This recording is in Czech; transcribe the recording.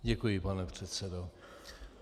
Děkuji, pane předsedo.